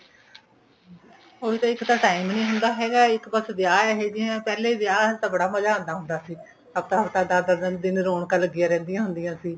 ਹੁਣ ਤੇ ਇੱਕ ਤਾਂ time ਨਹੀਂ ਹੁੰਦਾ ਹੈਗਾ ਕਿ ਇੱਕ ਬੱਸ ਵਿਆਹ ਇਹੇ ਜੇ ਏ ਪਹਿਲੇ ਵਿਆਹ ਵਿੱਚ ਬੜਾ ਮਜਾਂ ਆਉਦਾਂ ਸੀ ਹਫ਼ਤਾ ਹਫ਼ਤਾ ਦੱਸ ਦੱਸ ਦਿਨ ਰੋਣਕਾਂ ਲੱਗਿਆਂ ਰਹਿੰਦੀਆਂ ਹੁੰਦੀਆਂ ਸੀ